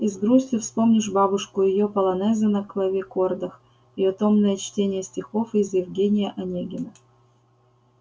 и с грустью вспомнишь бабушку её полонезы на клавикордах её томное чтение стихов из евгения онегина